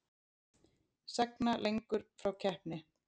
Sagna lengur frá keppni